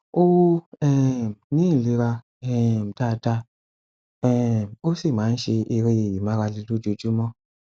ó um ní ìlera um dáadáa um ó sì máa ń ṣe eré ìmárale lójuoojúmọ